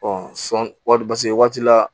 sɔn wari paseke waati la